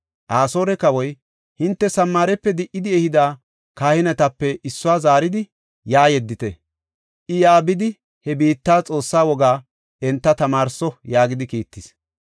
Asoore kawoy, “Hinte Samaarepe di77idi ehida kahinetape issuwa zaaridi, yaa yeddite. I yaa bidi, he biitta xoossaa wogaa enta tamaarso” yaagidi kiittis.